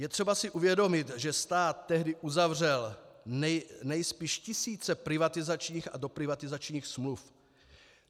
Je třeba si uvědomit, že stát tehdy uzavřel nejspíš tisíce privatizačních a doprivatizačních smluv.